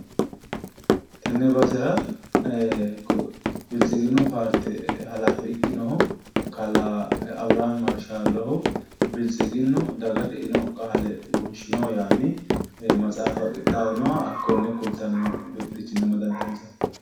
Tenne basera biltsiginnu paarte halaafe ikkinohu kalaa abiraami mrshaallohu biltsiginnu dagate eino qaale wonshino yaanni matsaafa qixxawinoha hakkonne kultanno birxichinni amadantino ...